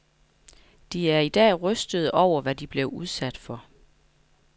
De er i dag rystede over, hvad de blev udsat for.